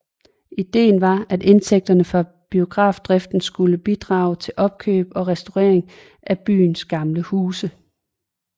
Ideen var at indtægterne fra biografdriften skulle bidrage til opkøb og restaurering af byens gamle huse